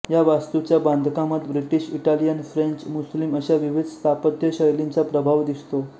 या वास्तूच्या बांधकामात ब्रिटीश इटालियन फ्रेंच मुस्लिम अशा विविध स्थापत्य शैलींचा प्रभाव दिसतो